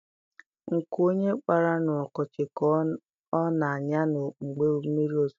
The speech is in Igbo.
Nkụ onye kpara n'ọkọchị ka ọ na-anya na mgbe mmiri ozuzo